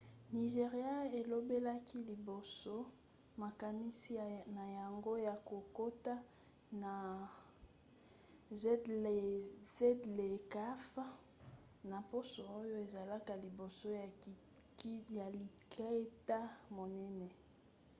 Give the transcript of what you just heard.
nigéria elobelaki liboso makanisi na yango ya kokota na zlecaf na poso oyo ezalaka liboso ya likita monene